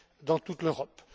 dans toute l'Europe.